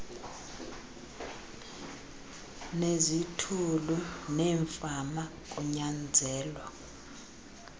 nezithulu neemfama kunyanzelwa